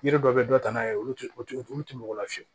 Yiri dɔ bɛ dɔ ta n'a ye olu tɛ o olu tɛ mɔgɔ lafiyɛ